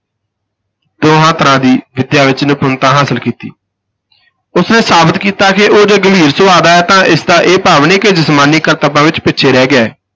ਦੋਹਾਂ ਤਰ੍ਹਾਂ ਦੀ ਵਿਦਿਆ ਵਿਚ ਨਿਪੁੰਨਤਾ ਹਾਸਲ ਕੀਤੀ ਉਸ ਨੇ ਸਾਬਤ ਕੀਤਾ ਕਿ ਉਹ ਜੇ ਗੰਭੀਰ ਸੁਭਾਅ ਦਾ ਹੈ ਤਾਂ ਇਸ ਦਾ ਇਹ ਭਾਵ ਨਹੀਂ ਕਿ ਜਿਸਮਾਨੀ ਕਰਤੱਬਾਂ ਵਿਚ ਪਿੱਛੇ ਰਹਿ ਗਿਆ ਹੈ।